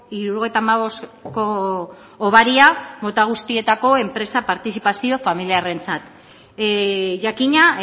hirurogeita hamabostko hobaria mota guztietako enpresa partizipazio familiarrentzat jakina